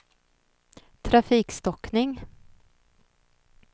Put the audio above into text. trafikstockning